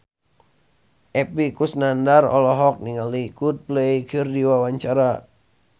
Epy Kusnandar olohok ningali Coldplay keur diwawancara